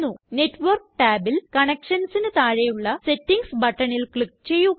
network ടാബിൽ Connectionsനു താഴെയുള്ള സെറ്റിംഗ്സ് buttonല് ക്ലിക്ക് ചെയ്യുക